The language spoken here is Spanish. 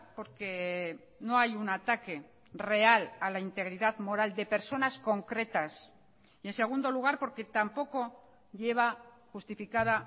porque no hay un ataque real a la integridad moral de personas concretas y en segundo lugar porque tampoco lleva justificada